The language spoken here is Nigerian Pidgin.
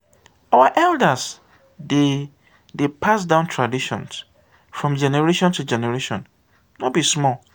our elders dey dey pass down traditions from generation to generation no be small.